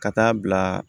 Ka taa bila